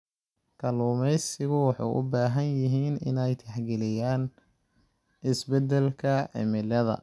Kalluumaysigu waxay u baahan yihiin inay tixgeliyaan isbeddelka cimilada.